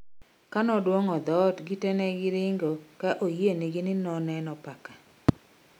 Kanoduong'o dhot gi te negi ringo ka oyieyni moneno paka